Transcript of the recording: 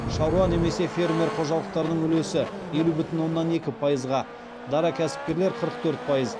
шаруа немесе фермер қожалықтарының үлесі елу бүтін оннан екі пайызға дара кәсіпкерлер қырық төрт пайыз